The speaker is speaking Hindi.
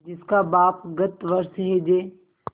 जिसका बाप गत वर्ष हैजे